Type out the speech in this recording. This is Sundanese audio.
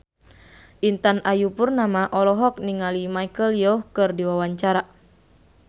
Intan Ayu Purnama olohok ningali Michelle Yeoh keur diwawancara